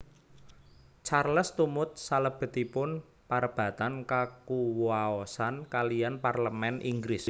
Charles tumut salebetipun parebatan kakuwaosan kaliyan Parlemèn Inggris